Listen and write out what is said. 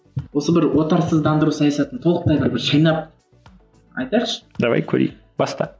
осы бір отарсыздандыру саясатын толықтай бір бір шайнап айтайықшы давай көрейік баста